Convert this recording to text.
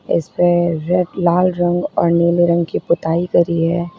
इसमें लाल रंग और नीले रंग की पुताई करी है।